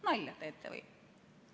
Nalja teete või?